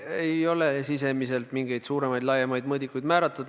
Ei ole mul sisimas mingeid laiemaid mõõdikuid määratud.